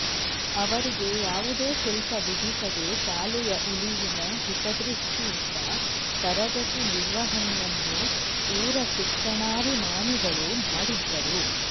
ಅವರಿಗೆ ಯಾವುದೇ ಶುಲ್ಕ ವಿಧಿಸದೆ ಶಾಲೆಯ ಉಳಿವಿನ ಹಿತದೃಷ್ಟಿಯಿಂದ ತರಗತಿ ನಿರ್ವಹಣೆಯನ್ನು ಊರ ಶಿಕ್ಷಣಾಭಿಮಾನಿಗಳು ಮಾಡಿದ್ದರು